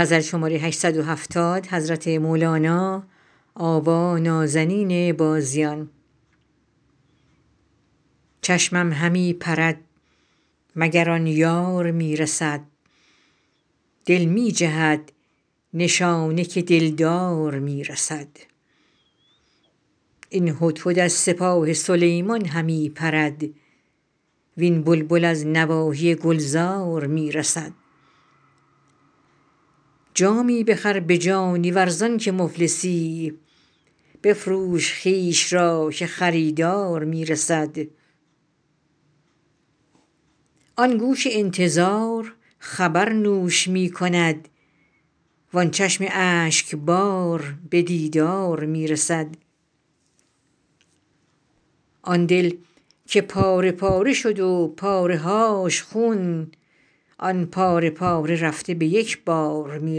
چشمم همی پرد مگر آن یار می رسد دل می جهد نشانه که دلدار می رسد این هدهد از سپاه سلیمان همی پرد وین بلبل از نواحی گلزار می رسد جامی بخر به جانی ور زانک مفلسی بفروش خویش را که خریدار می رسد آن گوش انتظار خبر نوش می کند وان چشم اشکبار به دیدار می رسد آن دل که پاره پاره شد و پاره هاش خون آن پاره پاره رفته به یک بار می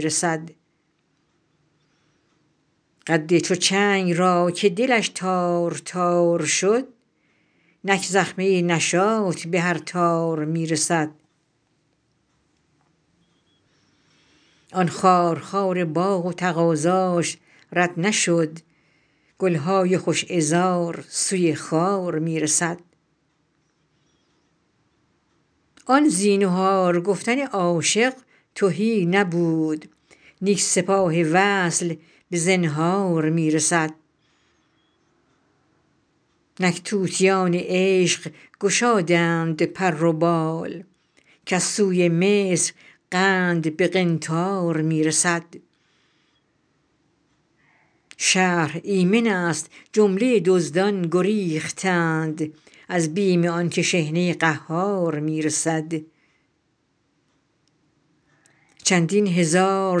رسد قد چو چنگ را که دلش تار تار شد نک زخمه نشاط به هر تار می رسد آن خارخار باغ و تقاضاش رد نشد گل های خوش عذار سوی خار می رسد آن زینهار گفتن عاشق تهی نبود اینک سپاه وصل به زنهار می رسد نک طوطیان عشق گشادند پر و بال کز سوی مصر قند به قنطار می رسد شهر ایمنست جمله دزدان گریختند از بیم آنک شحنه قهار می رسد چندین هزار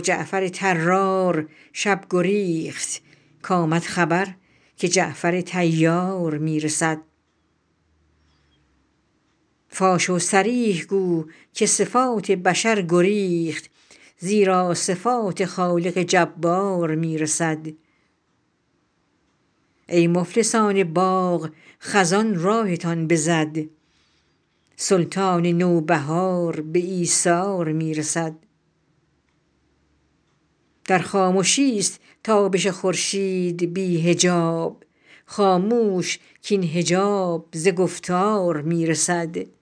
جعفر طرار شب گریخت کآمد خبر که جعفر طیار می رسد فاش و صریح گو که صفات بشر گریخت زیرا صفات خالق جبار می رسد ای مفلسان باغ خزان راهتان بزد سلطان نوبهار به ایثار می رسد در خامشیست تابش خورشید بی حجاب خاموش کاین حجاب ز گفتار می رسد